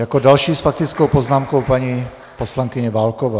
Jako další s faktickou poznámkou paní poslankyně Válková.